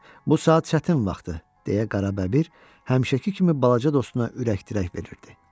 Bu saat çətin vaxtdır, deyə Qarabəbir həmişəki kimi balaca dostuna ürək dirək verirdi.